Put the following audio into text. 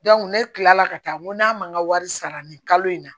ne kilala ka taa n ko n'a ma n ka wari sara nin kalo in na